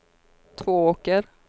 Tvååker